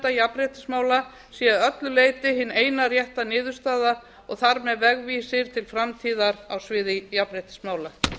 kærunefndar jafnréttismála sé að öllu leyti hin eina rétta niðurstaða og þar með vegvísir til framtíðar á sviði jafnréttismála